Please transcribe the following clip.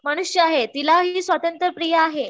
मनुष्य आहे तिला हि स्वातंत्र प्रिय आहे